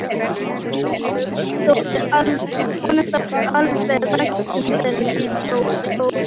Honum þótti alltaf vænt um þennan stól.